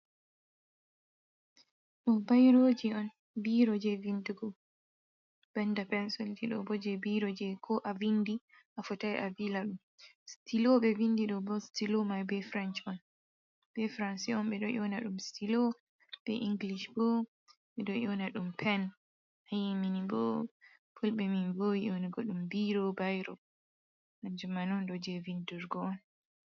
Ɗoo bairooji on, biiro jei vinndugoo, banda pencil ɗiɗo boo jei biiro je ko a vindi a fotai a Vila ɗum. Stilo ɓe vinndi ɗo boo, stilo mai be frenh man bee franci on ɓe do yewna ɗum stilo, be inglish boo ɓe ɗoo yewna ɗum pen, minnboo pulɓe min boowii yewnugo ɗum biiro, bairo, kanjaman ondoo ɗoo jei vinndurgo on.